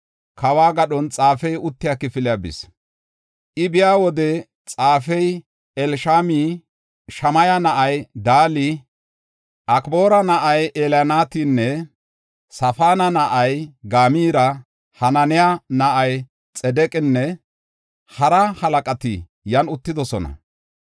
kawo gadhon xaafey uttiya kifiliya bis. I biya wode, xaafey Elishami, Shamaya na7ay Dali, Akboora na7ay Elnaatani, Safaana na7ay Gamaara, Hananiya na7ay Xidiqenne hara halaqati yan uttidosona.